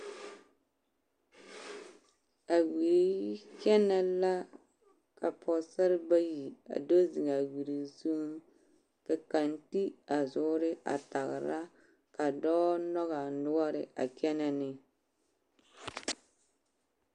A wiri kyɛnɛ la ka pɔɔsare bayi a do zeŋ a wiri zuŋ ka kaŋ ti a zoore a tagera ka dɔɔ nɔge a noɔre a kyɛnɛ ne.